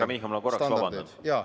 Härra Michal, ma korraks vabandan!